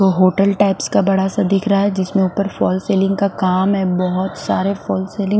hotel types का बड़ा सा दिख रहा है जिसमें ऊपर फॉल सीलिंग का काम है बहोत सारे फॉल सीलिंग --